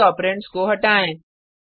सभी ऑपरेंड्स को हटाएँ